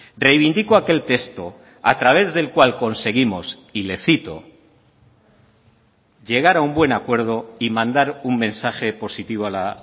reivindico aquel texto a través del cual conseguimos y le cito llegar a un buen acuerdo y mandar un mensaje positivo a la